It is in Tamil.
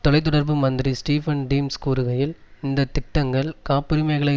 தொலை தொடர்பு மந்திரி ஸ்டீபன் டிம்ஸ் கூறுகையில் இந்த திட்டங்கள் காப்புரிமையகளை